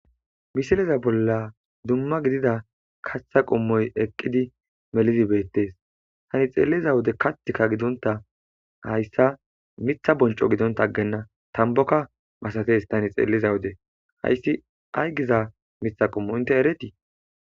misiliza bolla dumma gidida katha qommoy eqqidi melizibeettes tani xeelliza wode kathika gidonta hayssa mitha bonco gidonta ggenna tamboka masates tani xeeliza wode hayssi ay giza mitha qommo inte eretii